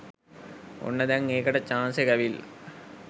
ඔන්න දැං ඒකට චාන්ස් එක ඇවිල්ල.